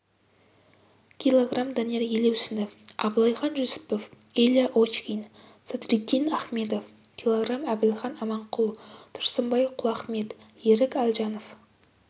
кг данияр елеусінов абылайхан жүсіпов илья очкин садриддин ахмедов кг әбілхан аманқұл тұрсынбай құлахмет ерік әлжанов